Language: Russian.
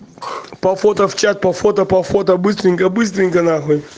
по фото в чат по фото по фото быстренько быстренько нахуй